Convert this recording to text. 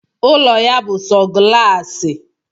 Ụlọ ya bú sọ galaasi